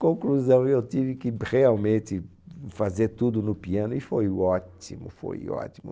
Conclusão, eu tive que realmente fazer tudo no piano e foi o ótimo, foi ótimo.